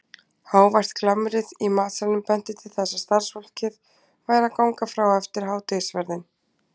Hávært glamrið í matsalnum benti til þess að starfsfólkið væri að ganga frá eftir hádegisverðinn.